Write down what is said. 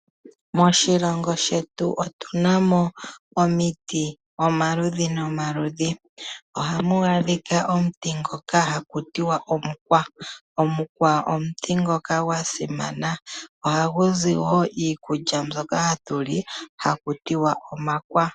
Moshilongo shetu otu na mo omiti omaludhi nomaludhi. Ohamu adhika omuti ngoka haku tiwa omukwa, omukwa omuti ngoka gwa simana, ohagu zi wo iikulya mbyoka hatu li haku tiwa omakwa.